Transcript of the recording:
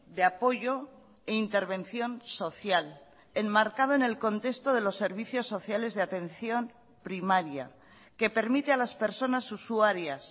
de apoyo e intervención social enmarcado en el contexto de los servicios sociales de atención primaria que permite a las personas usuarias